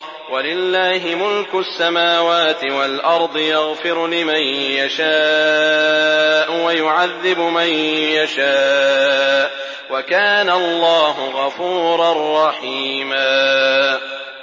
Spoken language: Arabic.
وَلِلَّهِ مُلْكُ السَّمَاوَاتِ وَالْأَرْضِ ۚ يَغْفِرُ لِمَن يَشَاءُ وَيُعَذِّبُ مَن يَشَاءُ ۚ وَكَانَ اللَّهُ غَفُورًا رَّحِيمًا